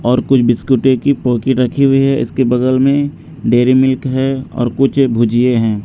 और कुछ बिस्कुटे की पोकीट रखी हुई है इसके बगल में डेयरी मिल्क है और कुछ भुजिये हैं।